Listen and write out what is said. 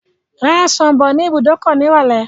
Ra ọsàn bọ̀ ní ibùdókọ̀ nírọ̀lẹ́.